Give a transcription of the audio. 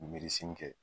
kɛ